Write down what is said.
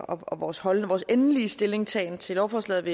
og vores endelige stillingtagen til lovforslaget